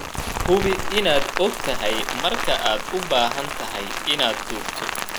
Hubi inaad ogtahay marka aad u baahan tahay inaad duubto.